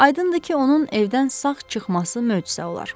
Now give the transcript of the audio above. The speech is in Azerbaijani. Aydındır ki, onun evdən sağ çıxması möcüzə olar.